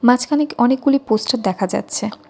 মাঝখানে অনেকগুলি পোস্টার দেখা যাচ্ছে।